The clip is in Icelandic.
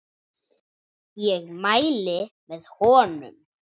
Ég mæli með honum.